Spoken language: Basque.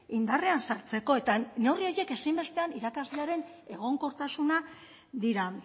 indarrean sartzeko eta neurri horiek ezinbestean irakaslearen egonkortasuna dira